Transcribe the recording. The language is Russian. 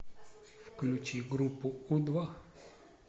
включи группу у два